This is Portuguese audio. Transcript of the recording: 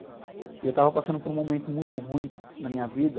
E eu estava passando por um momento muito ruim na minha vida.